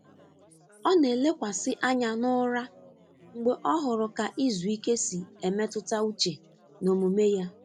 Ọ na-elekwasị anya n’ụra mgbe ọ hụrụ ka izu ike si emetụta uche na omume ya.